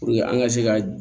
an ka se ka